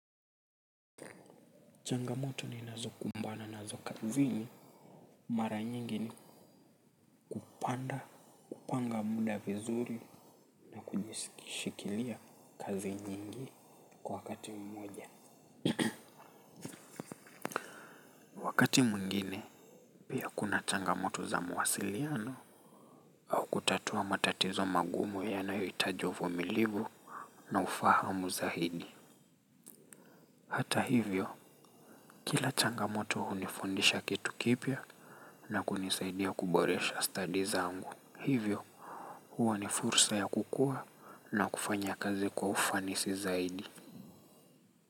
Changamoto ni nazokumbana nazo kazini mara nyingi ni kupanda kupanga muda vizuri na kujishikilia kazi nyingi kwa wakati mmoja waKati mwingine pia kuna changamoto za mawasiliano au kutatua matatizo magumu yanayohitaji uvumilivu na ufahamu zaidi. Hata hivyo kila changamoto hunifundisha kitu kipya na kunisaidia kuboresha stadi zangu hivyo huwa ni fursa ya kukua na kufanya kazi kwa ufanisi zaidi.